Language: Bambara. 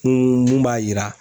Kun mun b'a yira